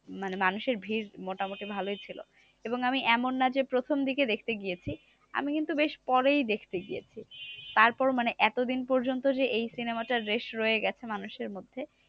মানে মানুষের ভিড় মোটামুটি ভালোই ছিল। এবং আমি এমন না যে প্রথম দিকে দেখতে গিয়েছি? আমি কিন্তু বেশ পরেই দেখতে গিয়েছি। তারপর মানে এতদিন পর্যন্ত যে, এই cinema টার race রয়ে গেছে মানুষের মধ্যে